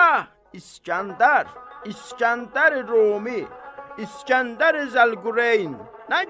Ah, İsgəndər, İsgəndəri Rumi, İsgəndəri Zəlqureyn.